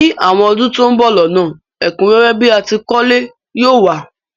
Ní àwon odún to n bo lónà, ẹ̀kúnrẹ́rẹ́ bi a tìí kólé yi o wa